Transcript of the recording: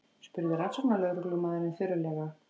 spurði rannsóknarlögreglumaðurinn þurrlega.